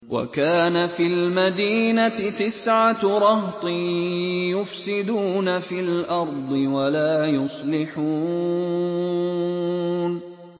وَكَانَ فِي الْمَدِينَةِ تِسْعَةُ رَهْطٍ يُفْسِدُونَ فِي الْأَرْضِ وَلَا يُصْلِحُونَ